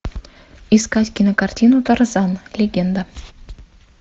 искать кинокартину тарзан легенда